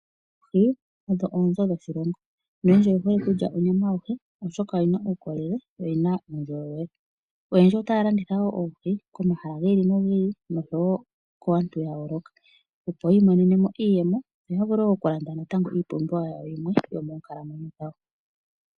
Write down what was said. Oohi odho oonzo dhoshilongo noyendji oye hole okulya onyama yohi oshoka odhina uukolele, yo oyina uundjolowele. Oyendji ota ya landitha oohi komahala gi ili, nogi ili osho woo kaantu ya yooloka. Opo yi imonene mo iiyemo noya vule okulanda natango iipumbiwa yawo yimwe yomoonkalamwenyo dhawo.